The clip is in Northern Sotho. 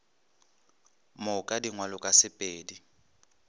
moka di ngwalwe ka sepedi